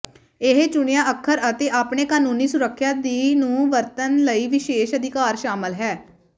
ਇਹ ਚੁਣਿਆ ਅੱਖਰ ਅਤੇ ਆਪਣੇ ਕਾਨੂੰਨੀ ਸੁਰੱਖਿਆ ਦੀ ਨੂੰ ਵਰਤਣ ਲਈ ਵਿਸ਼ੇਸ਼ ਅਧਿਕਾਰ ਸ਼ਾਮਲ ਹੈ